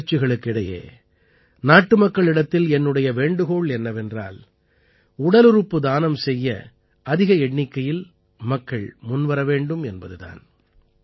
இந்த முயற்சிகளுக்கு இடையே நாட்டுமக்களிடத்தில் என்னுடைய வேண்டுகோள் என்னவென்றால் உடலுறுப்பு தானம் செய்ய அதிக எண்ணிக்கயில் மக்கள் முன்வர வேண்டும் என்பது தான்